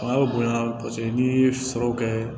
bonya paseke n'i ye sɔrɔ kɛ